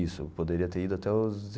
Isso, eu poderia ter ido até os.